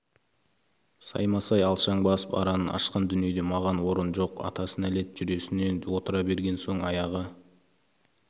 саймасай алшаң басып аранын ашқан дүниеде маған орын жоқ атасына нәлет жүресінен отыра берген соң аяғы